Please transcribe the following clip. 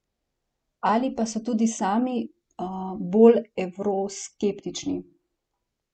Ali pa so tudi sami bolj evroskeptični?